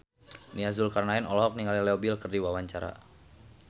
Nia Zulkarnaen olohok ningali Leo Bill keur diwawancara